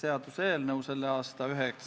Lugupeetud istungi juhataja!